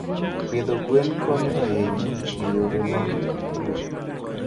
Pidho gwen konyo ahinya e yore mag pur.